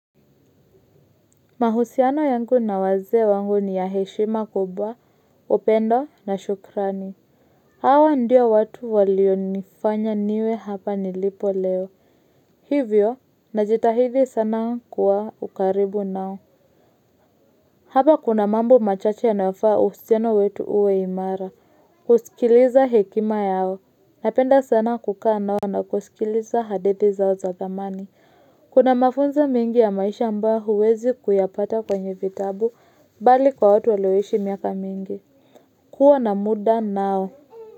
Mahusiano yangu na wazee wangu ni ya heshima kubwa, upendo na shukrani. Hawa ndio watu walionifanya niwe hapa nilipo leo. Hivyo, najitahidi sana kuwa kwa karibu nao. Hapa kuna mambo machache yanayo faa uhusiano wetu uwe imara. Kusikiliza hekima yao. Napenda sana kukaa nao na kusikiliza hadithi zao za zamani. Kuna mafunza mingi ya maisha ambayo huwezi kuyapata kwenye vitabu bali kwa watu walioishi miaka mingi. Kuwa na kudai nao.